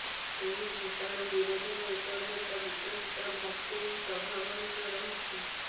ଏହି ଭୂତାଣୁ ବିରୋଧରେ ଏପର୍ଯ୍ୟନ୍ତ ବିକଶିତ ଭାକ୍ସିନ ପ୍ରଭାବହୀନ ରହିଛି